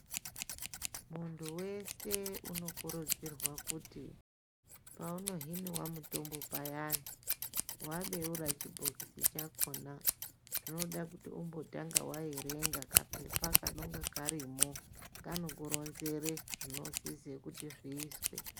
Muntu wese unokurudzirwe kuti paunohiniwa mutombo payana, wabeura chibhokisi chakhona unoda kuti umbotanga waerenga kapepa kanonga karimo kanokuronzere zvinosise kuti zviizwe.